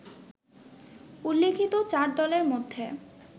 উল্লিখিত চার দলের মধ্যে